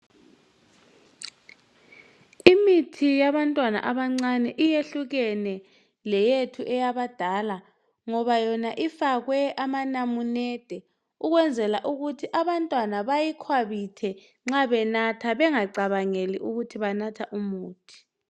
Imithi yabantwana abancane iyehlukene leyethu abadala ngoba yona ifakwe amanamunede ukwenzele ukuthi abantwana beyikhwabithe nxa benatha bengacabangeli ukuthi banatha umuthi